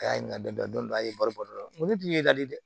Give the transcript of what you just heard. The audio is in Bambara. A y'a ɲininka dɔn a ye baro bari n ko ne tun y'i ka di dɛ